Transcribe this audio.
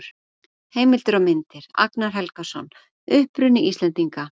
Heimildir og myndir: Agnar Helgason: Uppruni Íslendinga.